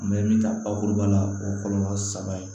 An bɛ min ta bakuruba la o kɔlɔlɔ saba ye